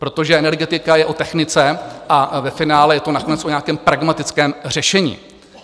Protože energetika je o technice a ve finále je to nakonec o nějakém pragmatickém řešení.